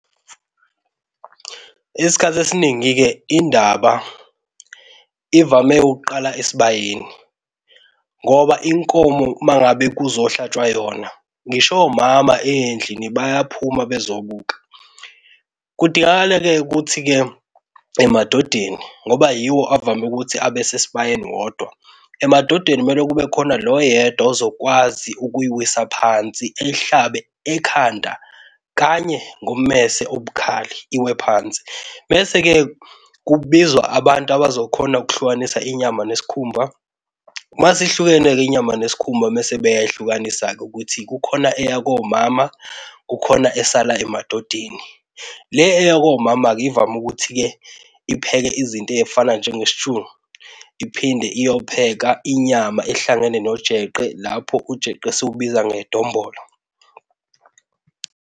Isikhathi esiningi-ke indaba ivame ukuqala esibayeni ngoba inkomo mangabe kuzohlatshwa yona, ngisho omama endlini bayaphuma bezobuka. Kudingakala-ke ukuthi-ke emadodeni ngoba yiwo avame ukuthi abe sesibayeni wodwa, emadodeni kumele kube khona lo oyedwa ozokwazi ukuyiwisa phansi eyihlabe ekhanda kanye ngommese obukhali iwe phansi. Mese-ke kubizwa abantu abazokhona ukuhlukanisa inyama nesikhumba. Mase ihlukene-ke inyama nesikhumba mese beyayihlukanisa-ke ukuthi kukhona eya komama, kukhona esala emadodeni. Le eya komama-ke ivame ukuthi-ke ipheke izinto ezifana njenge-stew. Iphinde iyopheka inyama ehlangene nojeqe lapho ujeqe esiwubiza ngedombolo.